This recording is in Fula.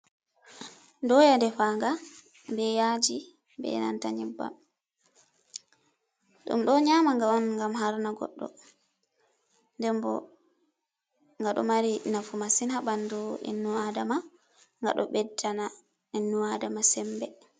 Doya defanga be yaji ɓe nata nyebbam, ɗum ɗo nyama nga on ngam harna goɗɗo ndembo ngaɗo mari nafu masin ha ɓandu ibnu adama, nga ɗo beddana ibnu adama sembe.